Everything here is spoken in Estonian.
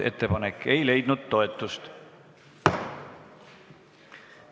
Ettepanek ei leidnud toetust.